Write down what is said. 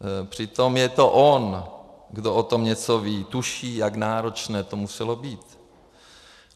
Přitom je to on, kdo o tom něco ví, tuší, jak náročné to muselo být.